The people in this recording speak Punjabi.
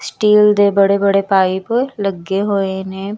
ਸਟੀਲ ਦੇ ਬੜੇ ਬੜੇ ਪਾਈਪ ਲੱਗੇ ਹੋਏ ਨੇ।